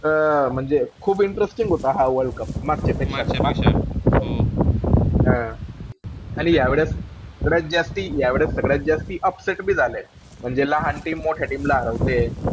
त अं म्हणजे खूप interesting होता हा वर्ल्ड कप मागच्यापेक्षा हां आणि यावेळेस सगळ्यात जास्ती या वेळेस सगळ्यात जास्ती upset बी झालेत. म्हणजे लहान team मोठ्या team ला हरवतेय.